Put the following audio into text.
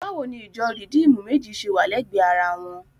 Báwo ni ìjọ Rìdíìmù méjì ṣe wà lẹ́gbẹ̀ẹ́ ara wọn?